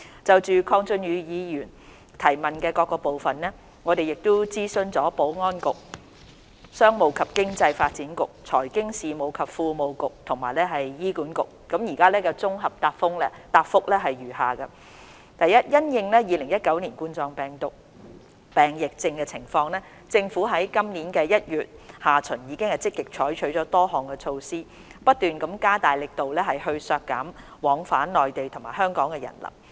就鄺俊宇議員所提質詢的各部分，經諮詢保安局、商務及經濟發展局、財經事務及庫務局及醫院管理局後，我現在綜合答覆如下：一因應2019冠狀病毒病疫情的情況，政府自今年1月下旬已積極採取多項措施，不斷加大力度削減往返內地與香港的人流。